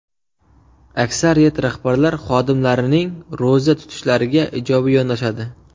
Aksariyat rahbarlar xodimlarining ro‘za tutishlariga ijobiy yondashadi.